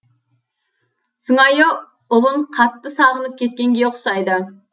сыңайы ұлын қатты сағынып кеткенге ұқсайды